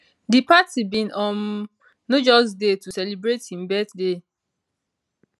di party bin um no just dey to celebrate im birthday